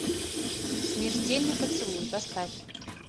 смертельный поцелуй поставь